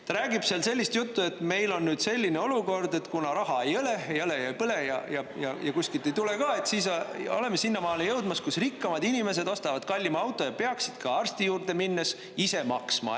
Ta räägib sellist juttu, et meil on selline olukord, et kuna raha ei ole, ei ole ja ei põle ja kuskilt ei tule ka, siis oleme sinnamaale jõudmas, kus rikkamad inimesed ostavad kallima auto ja peaksid ka arsti juurde minnes ise maksma.